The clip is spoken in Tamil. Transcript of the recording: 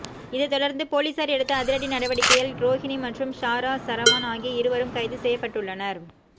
இதை தொடர்ந்து போலீசார் எடுத்த அதிரடி நடவடிக்கையால் ரோகிணி மற்றும் ஷாரா சரவான் ஆகிய இருவரும் கைது செய்யப்பட்டுள்ளனர்